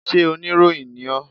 Sé oníròyìn ni ọ́?